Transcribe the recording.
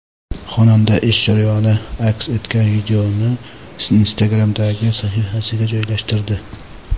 Xonanda ish jarayoni aks etgan videoni Instagram’dagi sahifasiga joylashtirdi.